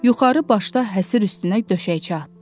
Yuxarı başda həsir üstünə döşəkçə atdı.